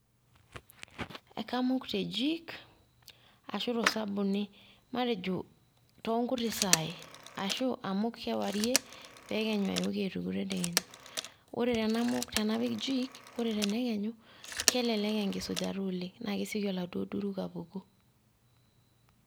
Ekamuk te jik ,ashu tosabuni. Matejo tonkuti saii, ashu amuk kewarie, pekenyu ayooki aituku tedekenya. Ore tenamuk tenapik jik ,ore tenekenyu kelelek enkisujata oleng',na keseki aladuo duruk apuku.